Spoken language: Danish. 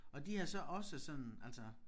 Og de har så også sådan altså